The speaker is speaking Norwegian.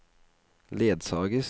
ledsages